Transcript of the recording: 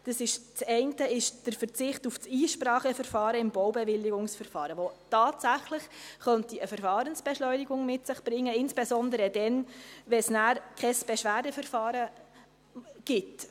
Das eine ist der Ver zicht auf die Einspracheverfahren im Baubewilligungsverfahren, was tatsächlich eine Verfahrensbeschleunigung mit sich bringen könnte, insbesondere dann, wenn es kein Beschwerdeverfahren gibt.